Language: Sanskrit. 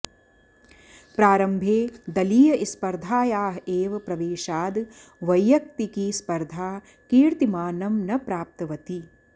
प्रारम्भे दलीयस्पर्धायाः एव प्रवेशाद वैयक्तिकी स्पर्धा कीर्तिमानं न प्राप्तवती